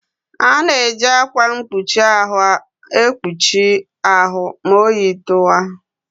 A na-eji ákwà mkpuchi ahụ ekpuchi ahụ ma oyi tụwa.